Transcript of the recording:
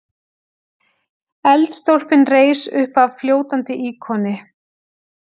Eldstólpinn reis uppaf fljótandi íkoni.